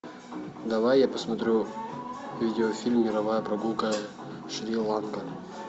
давай я посмотрю видеофильм мировая прогулка шри ланка